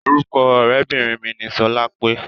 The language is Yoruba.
Orúkọ ọ̀rẹ́bìnrin mi ni sọlápé.